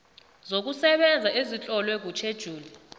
zokusebenza ezitlolwe kutjhejuli